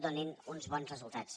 donin uns bons resultats